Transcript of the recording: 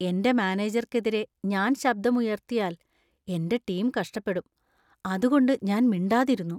എന്‍റെ മാനേജർക്കെതിരെ ഞാൻ ശബ്ദം ഉയർത്തിയാൽ, എന്‍റെ ടീം കഷ്ടപ്പെടും. അതുകൊണ്ട് ഞാൻ മിണ്ടാതിരുന്നു.